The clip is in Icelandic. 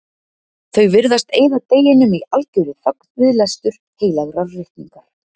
Þau virðast eyða deginum í algerri þögn, við lestur heilagrar ritningar.